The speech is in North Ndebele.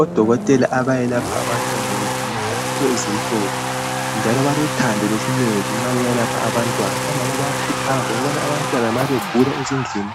Odokotela abayelapha abantwana balezembatho ezimhlophe njalo balothando lesineke nxa beyabe beselapha abantwana. Omama bayakhuthazwa nxa abantwana begula ezindlini